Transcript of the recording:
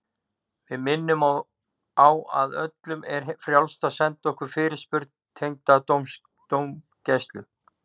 Við minnum á að öllum er frjálst að senda okkur fyrirspurn tengda dómgæslu.